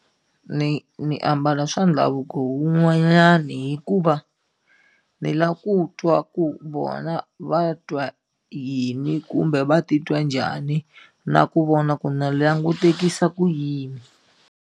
Ni ni ambala swa ndhavuko wun'wanyani hikuva ni la ku twa ku vona va twa yini kumbe va titwa njhani na ku vona ku na langutekisa ku yini.